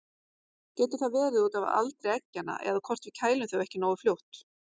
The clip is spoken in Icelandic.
Getur það verið út af aldri eggjanna eða hvort við kælum þau ekki nógu fljótt?